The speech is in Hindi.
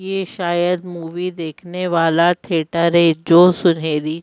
ये शायद मूवी देखने वाला थिएटर है जो सुनहरी--